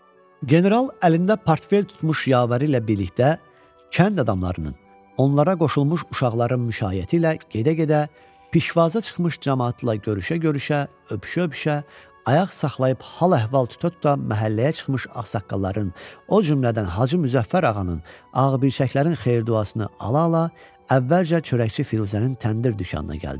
General əlində portfel tutmuş yavəri ilə birlikdə kənd adamlarının, onlara qoşulmuş uşaqların müşayiəti ilə gedə-gedə pişvazə çıxmış camaatla görüşə-görüşə, öpüşə-öpüşə, ayaq saxlayıb hal-əhval tuta-tuta məhəlləyə çıxmış ağsaqqalların, o cümlədən Hacı Müzəffər ağanın, ağbirçəklərin xeyir-duasını ala-ala əvvəlcə çörəkçi Firuzənin təndir dükanına gəldi.